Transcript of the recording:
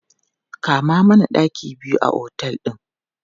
Kama mana ɗaki biyu a otel ɗin!